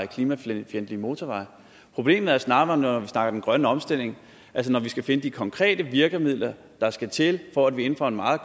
klimafjendtlige motorveje problemet er snarere når vi snakker den grønne omstilling altså når vi skal finde de konkrete virkemidler der skal til for at vi inden for en meget